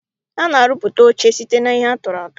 A na-arụpụta oche site n'ihe atụrụatụ.